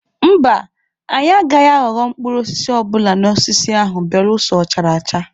Mba, anyị agaghị aghọrọ mkpụrụ osisi ọbụla n'osisi ahụ belụsọ ọ chara acha.